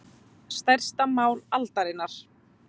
Stærsta mál aldarinnar